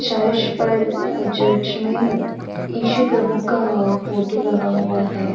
Church पर church में इशू प्रभु का फोटो लगा हुआ है।